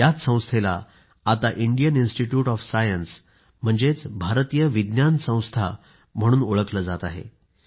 याच संस्थेला आता इंडियन इन्स्टिट्यूट ऑफ सायन्स म्हणजेच भारतीय विज्ञान संस्था म्हणून ओळखलं जात आहे